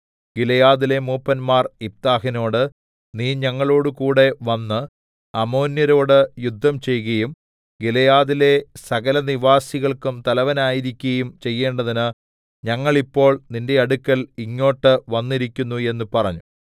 ഗിലെയാദിലെ മൂപ്പന്മാർ യിഫ്താഹിനോട് നീ ഞങ്ങളോടുകൂടെ വന്ന് അമ്മോന്യരോട് യുദ്ധംചെയ്കയും ഗിലെയാദിലെ സകലനിവാസികൾക്കും തലവനായിരിക്കയും ചെയ്യേണ്ടതിന് ഞങ്ങൾ ഇപ്പോൾ നിന്റെ അടുക്കൽ ഇങ്ങോട്ട് വന്നിരിക്കുന്നു എന്ന് പറഞ്ഞു